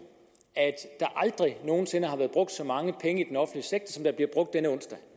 at der aldrig nogen sinde har været brugt så mange penge